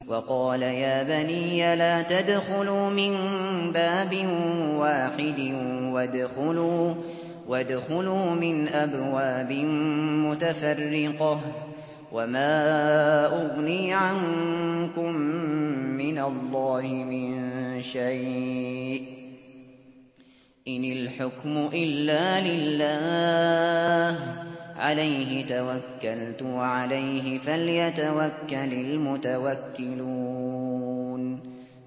وَقَالَ يَا بَنِيَّ لَا تَدْخُلُوا مِن بَابٍ وَاحِدٍ وَادْخُلُوا مِنْ أَبْوَابٍ مُّتَفَرِّقَةٍ ۖ وَمَا أُغْنِي عَنكُم مِّنَ اللَّهِ مِن شَيْءٍ ۖ إِنِ الْحُكْمُ إِلَّا لِلَّهِ ۖ عَلَيْهِ تَوَكَّلْتُ ۖ وَعَلَيْهِ فَلْيَتَوَكَّلِ الْمُتَوَكِّلُونَ